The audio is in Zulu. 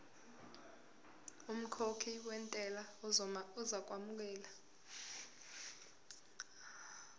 umkhokhi wentela uzokwamukelwa